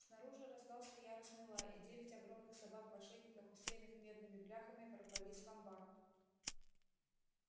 снаружи раздался яростный лай и девять огромных собак в ошейниках усеянных медными бляхами ворвались в амбар